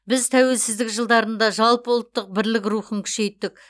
біз тәуелсіздік жылдарында жалпы ұлттық бірлік рухын күшейттік